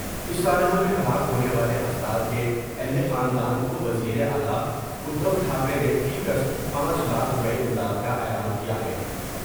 اس سانحہ میں ہلاک ہونے والے افراد کے اہل خاندان کو وزیر اعلی ادھوٹھا کرے نے فی کس پانچ لاکھ روپے امداد کا اعلان کیا ہے